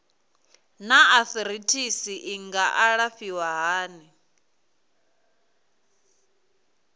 naa arthritis i nga alafhiwa hani